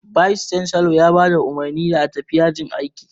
"Vice chancellor" ya ba da umarni da a tafi yajin aiki